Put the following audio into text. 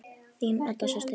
Þín Edda systir.